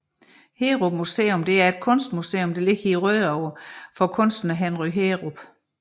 Heerup Museum er et kunstmuseum der ligger i Rødovre for kunstneren Henry Heerup